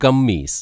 kameez